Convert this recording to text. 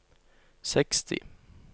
seksti